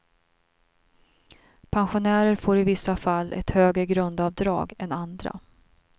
Pensionärer får i vissa fall ett högre grundavdrag än andra.